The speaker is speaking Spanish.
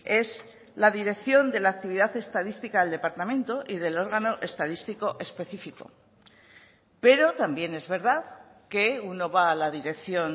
es la dirección de la actividad estadística del departamento y del órgano estadístico específico pero también es verdad que uno va a la dirección